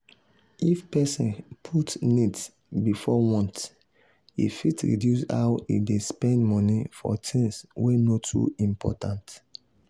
if person put needs before wants e fit reduce how e dey spend money for things wey no too important.